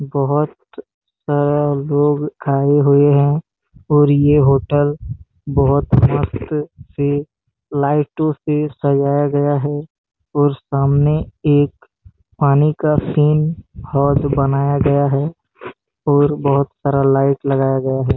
बहुत सारा लोग खाई हुई हैं और ये होटल बहुत मस्त से लाइटो से सजाया गया है और सामने एक पानी का सीन बनाया गया है और बहुत सारा लाइट लगाया गया है।